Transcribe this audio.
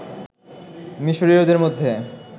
মিশরীয়দের মধ্যে